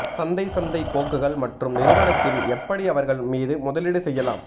சந்தை சந்தை போக்குகள் மற்றும் நிறுவனத்தின் எப்படி அவர்கள் மீது முதலீடு செய்யலாம்